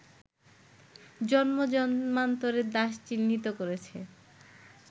জন্ম-জন্মান্তরের দাস চিহ্নিত করেছে